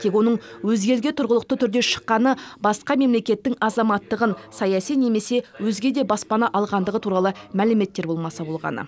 тек оның өзге елге тұрғылықты түрде шыққаны басқа мемлекеттің азаматтығын саяси немесе өзге де баспана алғандығы туралы мәліметтер болмаса болғаны